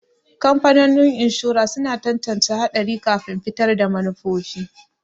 Kamfanonin inshora suna tantance haɗari kafin fitar da manufofi.